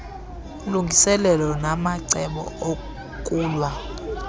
ulungiselelo namacebo okulwa